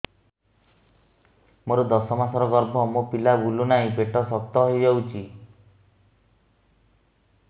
ମୋର ଦଶ ମାସର ଗର୍ଭ ମୋ ପିଲା ବୁଲୁ ନାହିଁ ପେଟ ଶକ୍ତ ହେଇଯାଉଛି